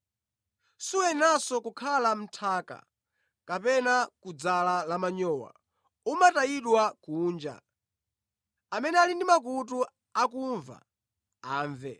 Suyeneranso ngakhale mʼnthaka kapena kudzala la manyowa; umatayidwa kunja. “Amene ali ndi makutu akumva, amve.”